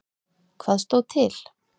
Hvað stóð til?